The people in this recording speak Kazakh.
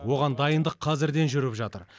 оған дайындық қазірден жүріп жатыр